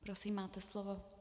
Prosím máte slovo.